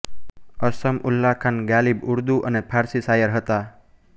અસદ ઉલ્લાહ ખાન ગાલિબ ઉર્દૂ અને ફારસી શાયર હતા